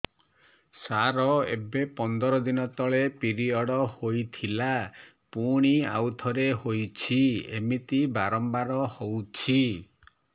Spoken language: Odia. ସାର ଏବେ ପନ୍ଦର ଦିନ ତଳେ ପିରିଅଡ଼ ହୋଇଥିଲା ପୁଣି ଆଉଥରେ ହୋଇଛି ଏମିତି ବାରମ୍ବାର ହଉଛି